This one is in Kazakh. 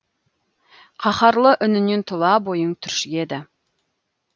қаһарлы үнінен тұла бойың түршігеді